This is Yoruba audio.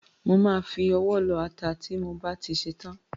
Má á fi ọwọ́ lọ ata ti mo bá ti ṣetán.